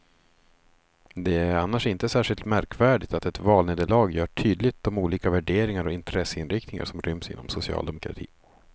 Det är annars inte särskilt märkvärdigt att ett valnederlag gör tydligt de olika värderingar och intresseinriktningar som ryms inom socialdemokratin.